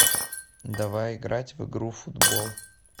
давай играть в игру футбол